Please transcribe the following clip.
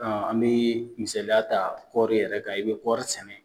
Ɔn an bi misaliya ta kɔri yɛrɛ kan . I be kɔri sɛnɛ.